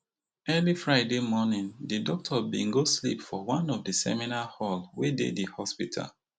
early friday morning di doctor bin go sleep for one of di seminar hall wey dey di hospital